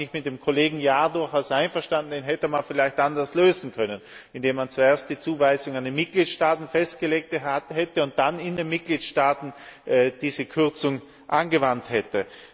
Und da bin ich mit dem Kollegen Jahr durchaus einverstanden, dies hätte man vielleicht anders lösen können, indem man zuerst die Zuweisungen an die Mitgliedstaaten festgelegt hätte und dann in den Mitgliedstaaten diese Kürzung angewandt hätte.